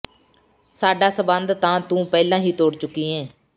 ਸਾਡਾ ਸੰਬੰਧ ਤਾਂ ਤੂੰ ਪਹਿਲਾ ਹੀ ਤੋੜ ਚੁੱਕੀ ਏਂ